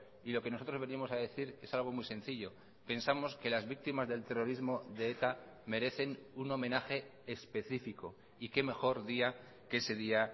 y lo que nosotros venimos a decir es algo muy sencillo pensamos que las víctimas del terrorismo de eta merecen un homenaje específico y qué mejor día que ese día